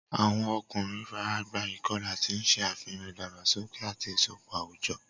Awọn ọkunrin faragba ikọla, ti n ṣe afihan idagbasoke ati isọpọ awujọ.